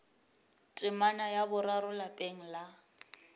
temana ya boraro lapeng la